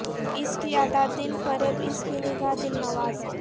اس کی ادا دل فریب اس کی نگہ دل نواز